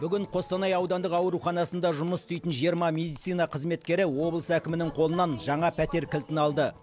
бүгін қостанай аудандық ауруханасында жұмыс істейтін жиырма медицина қызметкері облыс әкімінің қолынан жаңа пәтер кілтін алды